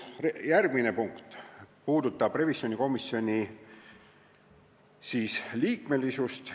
Järgmine punkt käsitleb revisjonikomisjoni liikmesust.